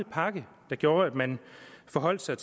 pakke der gjorde at man forholdt sig